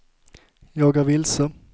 jag är vilse